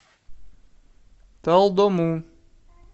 талдому